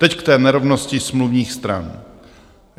Teď k té nerovnosti smluvních stran.